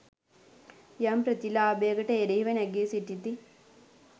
යම් ප්‍රතිලාභයකට එරහිව නැගී සිටිති